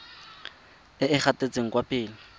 e e gatetseng kwa pele